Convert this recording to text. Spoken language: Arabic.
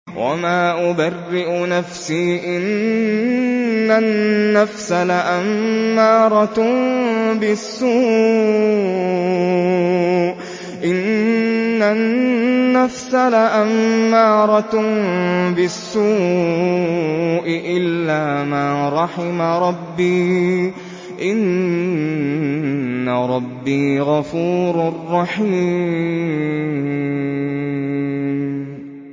۞ وَمَا أُبَرِّئُ نَفْسِي ۚ إِنَّ النَّفْسَ لَأَمَّارَةٌ بِالسُّوءِ إِلَّا مَا رَحِمَ رَبِّي ۚ إِنَّ رَبِّي غَفُورٌ رَّحِيمٌ